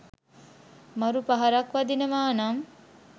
මරු පහරක් වදිනවානම්